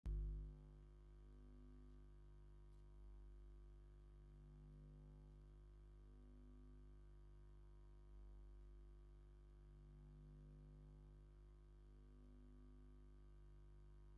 ዝተፈላለየ ሕብሪን መጠንን ዘለዎም መስተታት አብ ፃዕዳ ጣውላ ተደርዲሮም ይርከቡ፡፡ ንአብነት ቀይሕ ጥርሙዝ ቢራ፣ ፃዕዳን ቆፃልን ሕብሪ ጥርሙዝ አረቂን ይርከቡዎም፡፡ ፍርቂ መዳበርያ ንብረት ዝሓዘ እውን ይርከብ፡፡